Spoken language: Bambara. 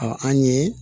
an ye